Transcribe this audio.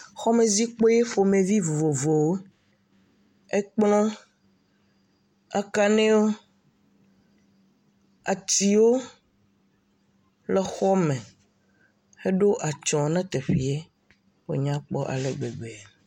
Xɔmezikpui ƒomevi vovovowo, ekplɔ, akanewo, atiwo le exɔ me, eɖo atysɔ ne teƒea wònya kpɔ ale gbegbe.